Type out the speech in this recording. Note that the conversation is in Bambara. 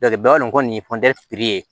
kɔni ye ye